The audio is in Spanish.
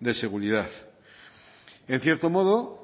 de seguridad en cierto modo